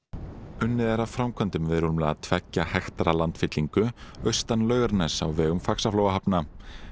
unnið er að framkvæmdum við rúmlega tveggja hektara landfyllingu austan Laugarness á vegum Faxaflóahafna